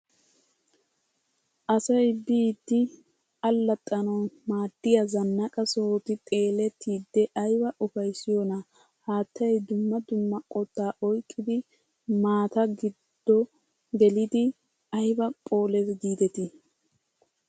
Asay biidi allaxxanawu maadiya zanaqqa sohoti xeellitide ayba ufayssiyonaa! Haattay dumma dumma qottaa oyqqidi maattaa guddo gelidi ayba phoolees giidetii!